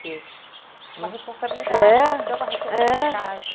Uma responsabilidade, uma responsabilidade.